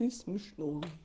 не смешно